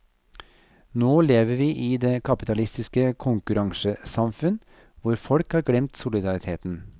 Nå lever vi i det kapitalistiske konkurransesamfunn, hvor folk har glemt solidariteten.